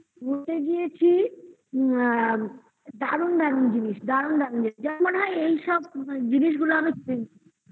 ঘুরতে গিয়েছি দারুন দারুন জিনিস দারুন দারুন জিনিস যা মনে হয় এইসব জিনিসগুলো আমি কিনে ফেলি